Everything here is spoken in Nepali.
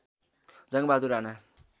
जङ्गबहादुर राणा